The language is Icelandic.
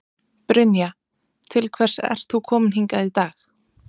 Brynja: Til hvers ert þú kominn hingað í dag?